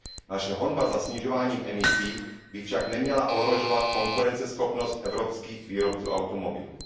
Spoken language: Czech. Naše honba za snižováním emisí by však neměla ohrožovat konkurenceschopnost evropských výrobců automobilů.